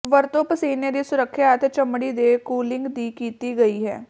ਵਰਤੋ ਪਸੀਨੇ ਦੀ ਸੁਰੱਖਿਆ ਅਤੇ ਚਮੜੀ ਦੇ ਕੂਲਿੰਗ ਦੀ ਕੀਤੀ ਗਈ ਹੈ